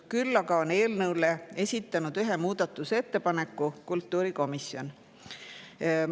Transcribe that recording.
Küll aga on eelnõu kohta esitanud ühe muudatusettepaneku kultuurikomisjon.